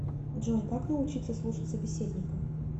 джой как научиться слушать собеседника